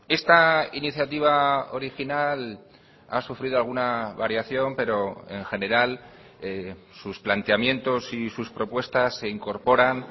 esta iniciativa original ha sufrido alguna variación pero en general sus planteamientos y sus propuestas se incorporan